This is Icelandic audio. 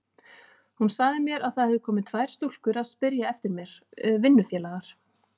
Hún sagði mér að það hefðu komið tvær stúlkur að spyrja eftir mér, vinnufélagar.